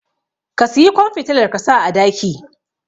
ka siyi kwan fitilar kasa a daki